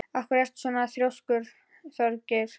Af hverju ertu svona þrjóskur, Þjóðgeir?